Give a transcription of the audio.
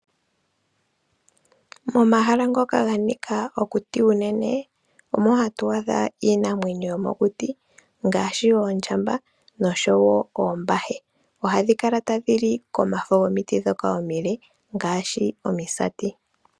Momahala ngoka ganika okuti unene omo hatu adha iinamwenyo yomokuti ngaashi Oondjamba nosho woo Ombahe, ohadhi kala tadhi li komafo gomiti dhoka omile ngaashi Omisati.